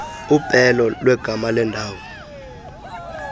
upelo lwegama lendawo